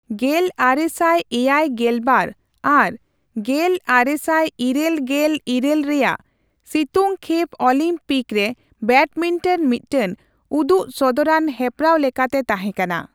ᱜᱮᱞ ᱟᱨᱮ ᱥᱟᱭ ᱮᱭᱟᱭ ᱜᱮᱞᱵᱟᱨ ᱟᱨ ᱜᱮᱞ ᱟᱨᱮ ᱥᱟᱭ ᱤᱨᱟᱹᱞ ᱜᱮᱞ ᱤᱨᱟ, ᱞ ᱨᱮᱭᱟᱜ ᱥᱤᱛᱩᱝᱠᱷᱮᱯ ᱚᱞᱤᱢᱯᱤᱠ ᱨᱮ ᱵᱮᱰᱢᱤᱱᱴᱚᱱ ᱢᱤᱫᱴᱟᱝ ᱩᱫᱩᱜ ᱥᱚᱫᱚᱨᱟᱱ ᱦᱮᱯᱨᱟᱣ ᱞᱮᱠᱟᱛᱮ ᱛᱟᱦᱮᱸᱠᱟᱱᱟ᱾